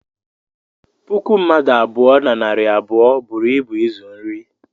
puku mmadụ abụọ na narị abụọ buru ịbu ịzụ nri